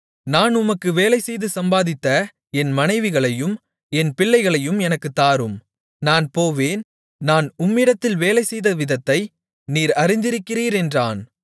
நான் உமக்கு வேலைசெய்து சம்பாதித்த என் மனைவிகளையும் என் பிள்ளைகளையும் எனக்குத் தாரும் நான் போவேன் நான் உம்மிடத்தில் வேலை செய்த விதத்தை நீர் அறிந்திருக்கிறீர் என்றான்